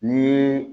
Ni